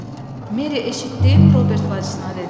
Meri, eşitdin, Robert bacısına dedi.